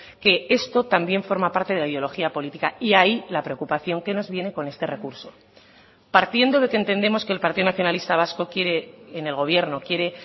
que esto también forma parte de la ideología política y ahí la preocupación que nos viene con este recurso partiendo de que entendemos que el partido nacionalista vasco quiere en el gobierno quiere